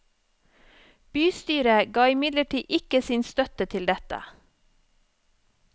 Bystyret ga imidlertid ikke sin støtte til dette.